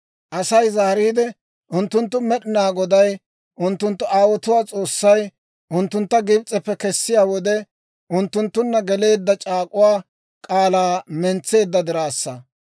«Asay zaariide, ‹Unttunttu Med'inaa Goday, unttunttu aawotuwaa S'oossay, unttuntta Gibs'eppe kessiyaa wode, unttunttunna geleedda c'aak'uwaa k'aalaa mentseedda diraassa.